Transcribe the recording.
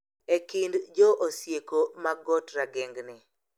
E kind jo Osieko ma got Ragengni,